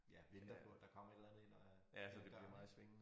Ja venter på at der kommer et eller andet ind ad ad døren ik